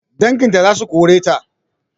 Danginta zasu koreta